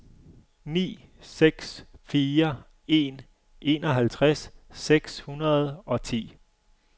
ni seks fire en enoghalvtreds seks hundrede og ti